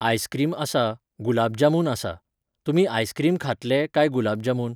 Ice cream आसा, गुलाब जामून आसा. तुमी आयसक्रीम खातले, काय गुलाब जामून?